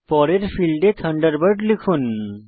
পরের ফীল্ডে থান্ডারবার্ড লিখুন